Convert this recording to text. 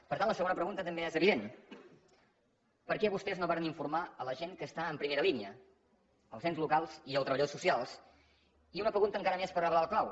per tant la segona pregunta també és evident per què vostès no varen informar la gent que està en primera línia els ens locals i els treballadors socials i una pregunta encara més per reblar el clau